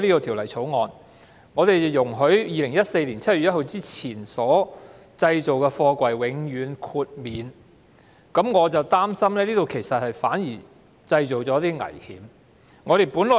《條例草案》獲通過後，於2014年7月1日之前完成建造的貨櫃將獲得永遠豁免，我很擔心這反而製造了危險。